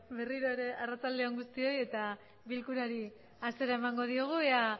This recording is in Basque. berriro ere arratzaldeon guztioi eta bilkurari hasiera emango diogu ea